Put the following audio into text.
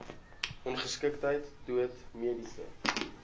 ongeskiktheid dood mediese